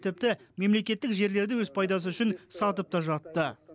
тіпті мемлекеттік жерлерді өз пайдасы үшін сатып та жатты